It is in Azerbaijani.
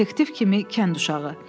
Detektiv kimi kənd uşağı.